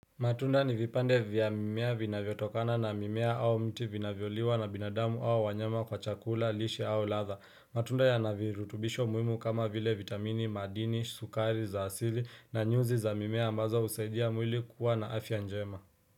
Matunda ni vipande vya mimea vina vyotokana na mimea au mti vina vyoliwa na binadamu au wanyama kwa chakula, lishe au latha. Matunda ya navirutubisho muhimu kama vile vitamini, madini, sukari, za asili na nyuzi za mimea ambaza usaidia mwili kuwa na afya njema.